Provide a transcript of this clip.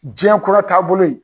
jiɲɛn kura taabolo in